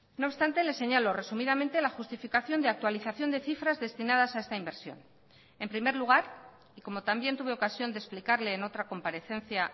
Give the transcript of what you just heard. no obstante le señalo resumidamente la justificación de actualización de cifras destinadas a esta inversión en primer lugar y como también tuve ocasión de explicarle en otra comparecencia